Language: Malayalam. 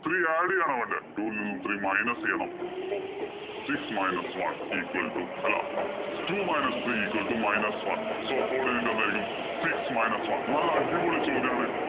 three add ചെയ്യുകയാണോ വേണ്ടേ? two വില്‍ നിന്നും three minus ചെയ്യണം. അപ്പൊ six minus one equal to അല്ലാ Two minus equal to minus one. So coodinate എന്തായിരിക്കും? Six minus one. നല്ല അടിപൊളി ചോദ്യാണ്.